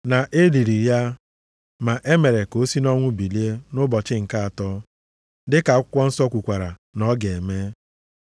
Na e liri ya, ma e mere ka o si nʼọnwụ bilie nʼụbọchị nke atọ, dịka akwụkwọ nsọ kwukwara na ọ ga-eme.